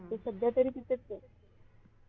सध्या तरी तिथेच आहे.